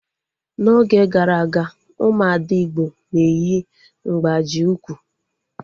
N'oge gara aga, ụmụ ada igbo na-eyi mgbaji ụkwụ